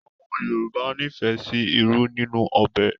Àwọn Yorùbá nífẹ̀ẹ́ sí ìrù ninu òbé